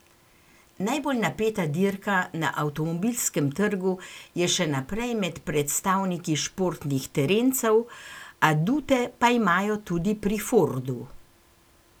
Najbolj napeta dirka na avtomobilskem trgu je še naprej med predstavniki športnih terencev, adute pa imajo tudi pri Fordu.